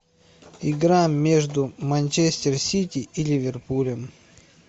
игра между манчестер сити и ливерпулем